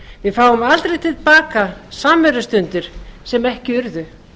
við fáum aldrei til baka samverustundir sem ekki urðu